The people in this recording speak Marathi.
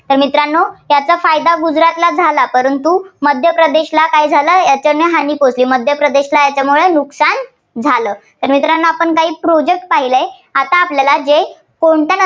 तर मित्रांनो याचा फायदा गुजरातला झाला, परंतु मध्य प्रदेशला काय झाला त्यांना हानी पोहचली. मध्य प्रदेशला याच्यामुळे नुकसान झालं. तर मित्रांनो आपण काही Project पाहिलंय. आता आपल्याला जे कोणत्या